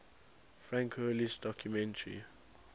frank hurley's documentary